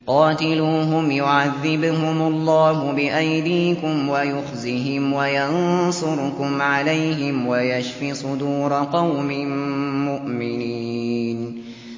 قَاتِلُوهُمْ يُعَذِّبْهُمُ اللَّهُ بِأَيْدِيكُمْ وَيُخْزِهِمْ وَيَنصُرْكُمْ عَلَيْهِمْ وَيَشْفِ صُدُورَ قَوْمٍ مُّؤْمِنِينَ